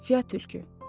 Fia tülkü.